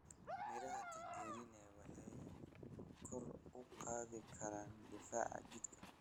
Miraha tangerine waxay kor u qaadi karaan difaaca jidhka.